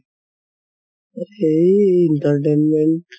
এই entertainment